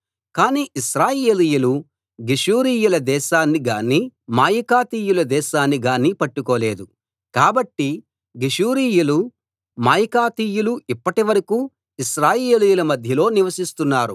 కానీ ఇశ్రాయేలీయులు గెషూరీయుల దేశాన్ని గానీ మాయకాతీయుల దేశాన్ని గానీ పట్టుకోలేదు కాబట్టి గెషూరీయులు మాయకాతీయులు ఇప్పటి వరకూ ఇశ్రాయేలీయుల మధ్యలో నివసిస్తున్నారు